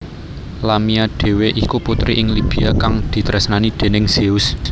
Lamia dhéwé iku putri ing Libya kang ditresnani déning Zeus